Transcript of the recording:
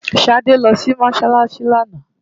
Ṣadé lọ sí Mọ́ṣáláṣí lánàá.